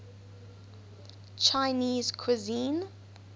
chinese cuisine